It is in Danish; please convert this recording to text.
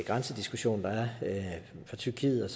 grænsediskussion der er for tyrkiet